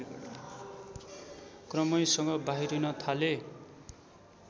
क्रमैसँग बाहिरिन थाले